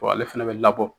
ale fɛnɛ bɛ labɔ